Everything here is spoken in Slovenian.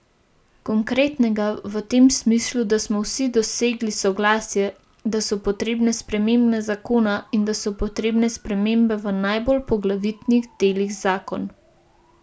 Konkretnega v tem smislu, da smo vsi dosegli soglasje, da so potrebne spremembe zakona in da so potrebne spremembe v najbolj poglavitnih delih zakon.